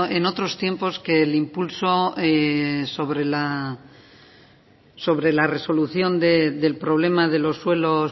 en otros tiempos que el impulso sobre la resolución del problema de los suelos